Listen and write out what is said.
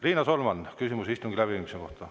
Riina Solman, küsimus istungi läbiviimise kohta.